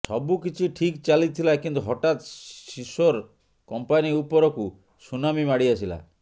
ସବୁ କିଛି ଠିକ୍ ଚାଲିଥିଲା କିନ୍ତୁ ହଠାତ୍ ସିସୋର କମ୍ପାନି ଉପରକୁ ସୁନାମି ମାଡି ଆସିଲା